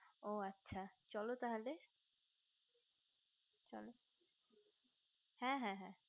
ও আচ্ছা চলো তাহলে চলো হ্যা হ্যা